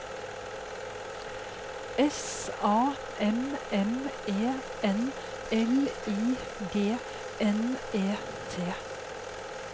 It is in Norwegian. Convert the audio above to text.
S A M M E N L I G N E T